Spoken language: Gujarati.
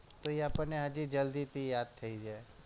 તો આપણને હજી જલ્દીથી યાદ થઈ જાય